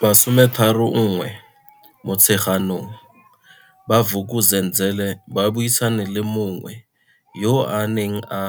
31 Motsheganong, ba Vuk uzenzele ba buisana le mongwe yo a neng a